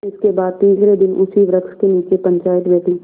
इसके बाद तीसरे दिन उसी वृक्ष के नीचे पंचायत बैठी